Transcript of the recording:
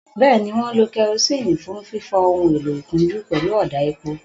Bẹ́ẹ̀ni, wọ́n ń lo kerosene fún fífọ ohun èlò-ìkunjú pẹ̀lú ọ̀dà epo.